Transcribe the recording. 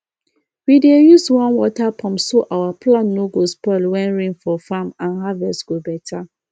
we dey use one water pump so our plant no go spoil when rain for farm and harvest go better